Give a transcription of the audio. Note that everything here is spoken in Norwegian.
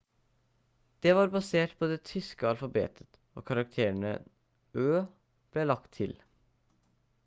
det var basert på det tyske alfabetet og karakteren «õ/õ» ble lagt til